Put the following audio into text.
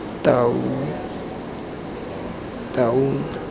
taung